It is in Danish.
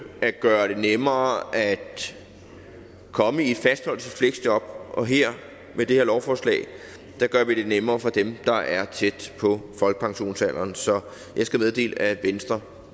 at gøre det nemmere at komme i et fastholdelsesfleksjob og med det her lovforslag gør vi det nemmere for dem der er tæt på folkepensionsalderen så jeg skal meddele at venstre